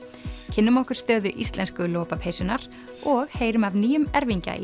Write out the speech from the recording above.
kynnum okkur stöðu íslensku lopapeysunnar og heyrum af nýjum erfingja